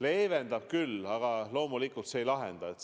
Leevendab küll, aga loomulikult see ei lahenda probleemi.